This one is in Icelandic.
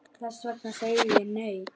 Þess vegna segi ég, nei!